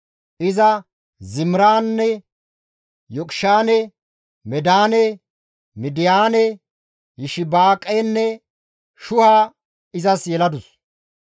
Iza Zimiraane, Yoqishaane, Medaane, Midiyaane, Yishibaaqenne Shuha izas yeladus.